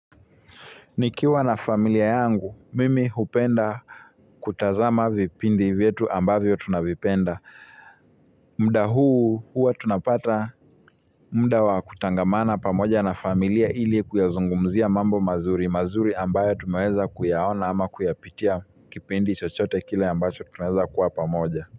Nikiwa na familia yangu, mimi hupenda kutazama vipindi vyetu ambavyo tunavipenda. Muda huu huwa tunapata muda wa kutangamana pamoja na familia ili kuyazungumzia mambo mazuri, mazuri ambayo tumeweza kuyaona ama kuyapitia kipindi chochote kile ambacho tunaweza kuwa pamoja.